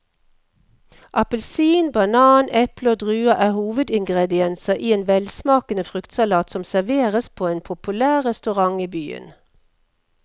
Appelsin, banan, eple og druer er hovedingredienser i en velsmakende fruktsalat som serveres på en populær restaurant i byen.